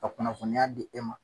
Ka kunnafoniya di e ma.